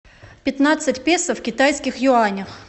пятнадцать песо в китайских юанях